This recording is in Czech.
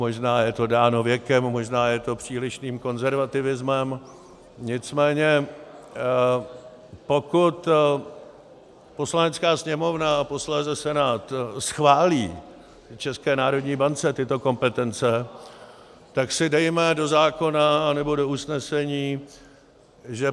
Možná je to dáno věkem, možná je to přílišným konzervativismem, nicméně pokud Poslanecká sněmovna a posléze Senát schválí České národní bance tyto kompetence, tak si dejme do zákona anebo do usnesení, že